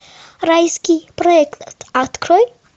райский проект открой